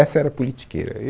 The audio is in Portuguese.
Essa era a politiqueira,